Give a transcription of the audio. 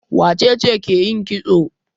Wace ce ke yin kitso?